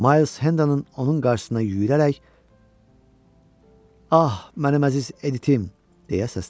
Miles Hendon onun qarşısına yüyrərək "Ah, mənim əziz Editim!" deyə səsləndi.